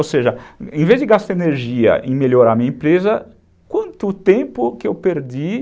Ou seja, em vez de gastar energia em melhorar a minha empresa, quanto tempo que eu perdi?